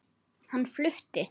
Hann flutti